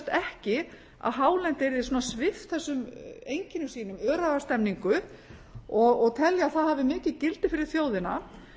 ekki að hálendið væri svona svipt þessum einkennum sínum öræfastemningu og telja að það hafi mikið gildi fyrir þjóðina